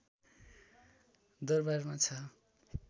दरवारमा छ